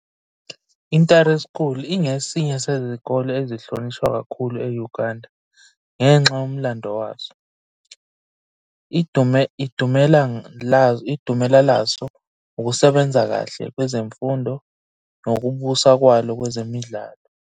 INtare School ingesinye sezikole ezihlonishwa kakhulu e-Uganda ngenxa yomlando waso, idumela laso, ukusebenza kahle kwezemfundo, nokubusa kwalo kwezemidlalo.